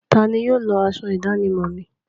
Tani yóò lọ aṣọ ìdánimọ̀ mi?